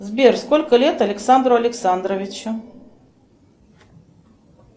сбер сколько лет александру александровичу